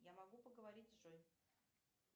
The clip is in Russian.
я могу поговорить с джой